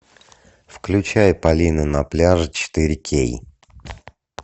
включай полина на пляже четыре кей